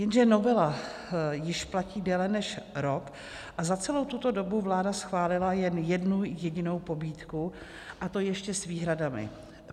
Jenže novela již platí déle než rok a za celou tuto dobu vláda schválila jen jednu jedinou pobídku, a to ještě s výhradami.